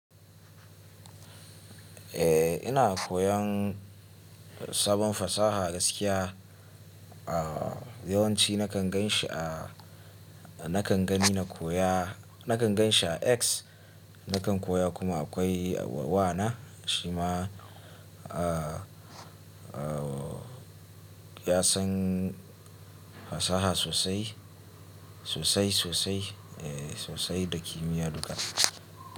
Eh ina koyan sabon fasaha gaskiya. A yawanci nakan gan shi a, nakan gani na koya, nakan gan shi a X. Nakan koya kuma akwai wa na shi ma a, a ya san fasaha sosai, sosai sosai eh sosai da kimiyya duka.